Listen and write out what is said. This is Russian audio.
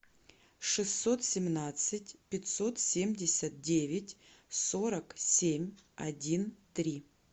шестьсот семнадцать пятьсот семьдесят девять сорок семь один три